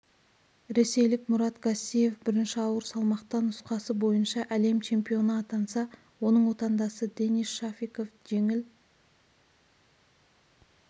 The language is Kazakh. ресейлік мурат гассиев бірінші ауыр салмақта нұсқасы бойынша әлем чемпионы атанса оның отандасы денис шафиков жеңіл